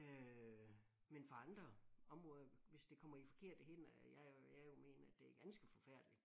Øh men for andre områder hvis det kommer i forkerte hænder jeg jo jeg jo mener at det er ganske forfærdeligt